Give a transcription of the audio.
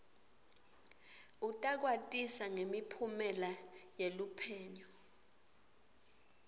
utakwatisa ngemiphumela yeluphenyo